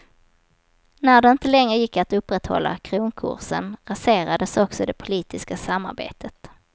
När det inte längre gick att upprätthålla kronkursen, raserades också det politiska samarbetet.